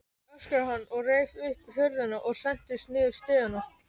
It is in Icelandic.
öskraði hann og reif upp hurðina og sentist niður stigana.